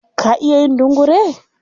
Ka iya yin dungure?